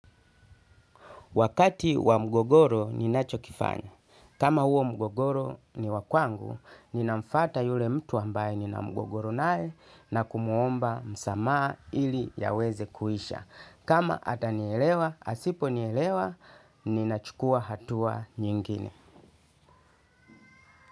Wakati wa mgogoro ninachokifanya. Kama huo mgogoro ni wa kwangu, ninamfata yule mtu ambaye ninamgogoro nae na kumuomba msamaha ili yaweze kuisha. Kama atanielewa, asipo nielewa, ninachukua hatua nyingine.